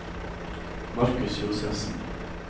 Markus Josefsen